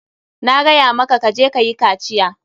Na gaya maka ka je kayi kaciya.